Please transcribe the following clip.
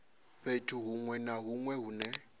fhethu hunwe na hunwe hune